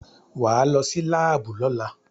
Wà á lọ sí láàbù lọ́la!